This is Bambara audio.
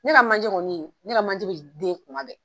Ne ka manje kɔni, ne ka manje den kuma bɛ!